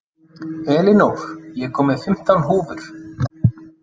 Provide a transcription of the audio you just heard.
Elinór, ég kom með fimmtán húfur!